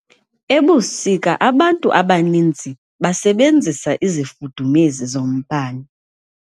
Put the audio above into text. Ebusika abantu abaninzi basebenzisa izifudumezi zombane.